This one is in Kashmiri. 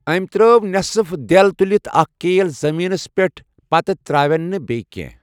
أمۍ ترٛٲو نٮ۪صٕف دٮ۪ل تُلِتھ اَکھ کیل زٔمیٖنس پٮ۪ٹھ، پتہٕ ترٛاوٮ۪ن بیٚیہِ کیٚنٛہہ۔